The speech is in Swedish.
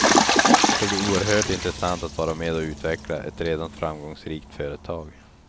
Det ska bli oerhört intressant att vara med och utveckla ett redan framgångsrikt företag.